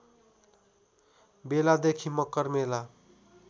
बेलादेखि मकर मेला